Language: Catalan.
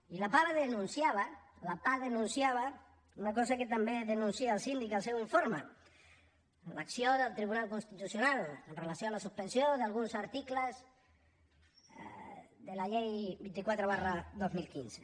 i la pah denunciava una cosa que també denuncia el síndic al seu informe l’acció del tribunal constitucional amb relació a la suspensió d’alguns articles de la llei vint quatre dos mil quinze